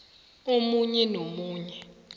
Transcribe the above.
omunye nomunye